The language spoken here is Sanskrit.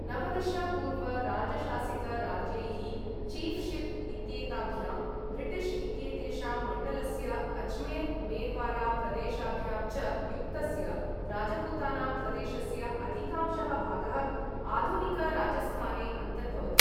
नवदश पूर्व राजशासित राज्यैः, छीऴ्शिप् इत्येताभ्यां, ब्रिटिश् इत्येतेषां मण्डलस्य अज्मेर् मेर्वारा प्रदेशाभ्यां च युक्तस्य, राजपूताना प्रदेशस्य अधिकांशः भागः आधुनिक राजस्थाने अन्तर्भवति।